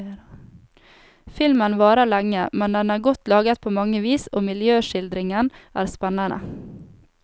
Filmen varer lenge, men den er godt laget på mange vis og miljøskildringen er spennende.